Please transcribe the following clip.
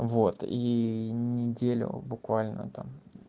вот и неделю буквально там